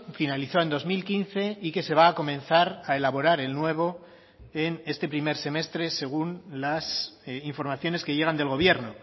finalizó en dos mil quince y que se va a comenzar a elaborar el nuevo en este primer semestre según las informaciones que llegan del gobierno